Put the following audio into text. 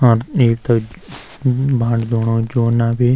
और एक त भांडू धूणू जूना भी।